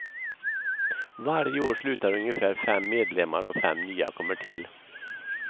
Varje år slutar ungefär fem medlemmar och fem nya kommer till.